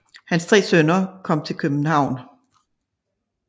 Hans 3 sønner kom til København